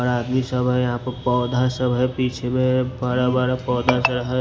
ओर आदमी सब है यहां पर पौधा सब है पीछे में बड़ा - बड़ा पौधा है --